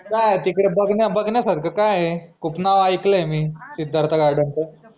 काय आय तिकडे बघन्या बघन्यासारखं काय आहे? खूप नाव ऐकलय मी सिद्धार्थ garden च